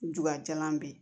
Jula be yen